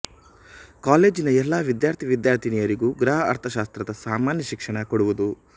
ಕಾಲೇಜಿನ ಎಲ್ಲ ವಿದ್ಯಾರ್ಥಿ ವಿದ್ಯಾರ್ಥಿನಿಯರಿಗೂ ಗೃಹ ಅರ್ಥಶಾಸ್ತ್ರದ ಸಾಮಾನ್ಯ ಶಿಕ್ಷಣ ಕೊಡುವುದು